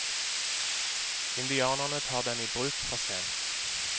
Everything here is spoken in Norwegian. Indianerne tar den i bruk for sent.